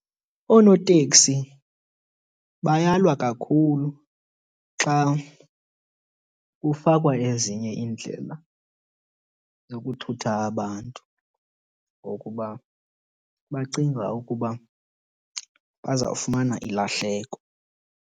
Oonoteksi bayalwa kakhulu xa kufakwa ezinye iindlela zokuthutha abantu ngokuba bacinga ukuba bazawufumana ilahleko.